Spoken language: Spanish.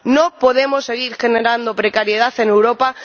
No podemos seguir generando precariedad en Europa.